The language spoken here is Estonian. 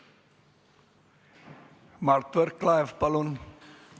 Mart Võrklaev, palun!